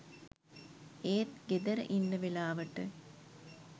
ඒත් ගෙදර ඉන්න වෙලාවට